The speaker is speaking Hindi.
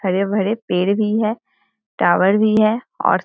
हरे-भरे पेड़ भी है टावर भी है और --